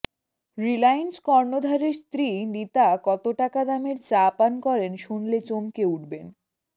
রিলায়েন্স কর্ণধারের স্ত্রী নীতা কত টাকা দামের চা পান করেন শুনলে চমকে উঠবেন